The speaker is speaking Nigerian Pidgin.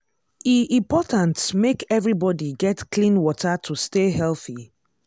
e important make everybody get clean water to stay healthy.